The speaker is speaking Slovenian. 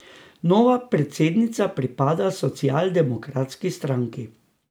Nova predsednica pripada socialdemokratski stranki.